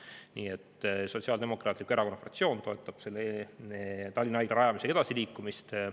Nii et Sotsiaaldemokraatliku Erakonna fraktsioon toetab Tallinna Haigla rajamisega edasiliikumist.